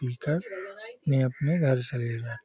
पीकर अपने-अपने घर चले जाओ |